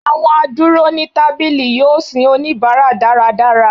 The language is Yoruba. awọn aduro ni tabili yọọ sin onibara daradara.